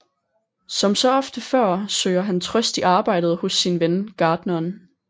Som så ofte før søger han trøst i arbejdet hos sin ven gartneren